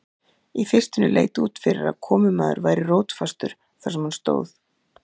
Í fyrstunni leit út fyrir að komumaður væri rótfastur þar sem hann stóð.